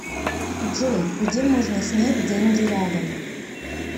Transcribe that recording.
джой где можно снять деньги рядом